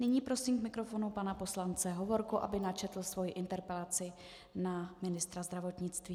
Nyní prosím k mikrofonu pana poslance Hovorku, aby načetl svoji interpelaci na ministra zdravotnictví.